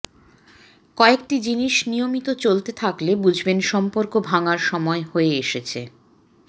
কয়েকটি জিনিস নিয়মিত চলতে থাকলে বুঝবেন সম্পর্ক ভাঙার সময় হয়ে এসেছে